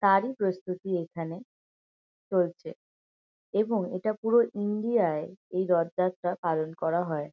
তারই প্রস্তুতি এইখানে চলছে এবং এটা পুরো ইন্ডিয়া -য় এই রথযাত্রা পালন করা হয়।